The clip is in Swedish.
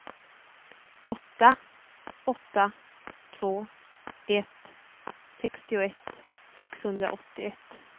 åtta åtta två ett sextioett sexhundraåttioett